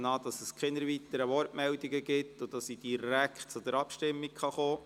Ich nehme an, es gebe keine weiteren Wortmeldungen und ich könne direkt zur Abstimmung kommen.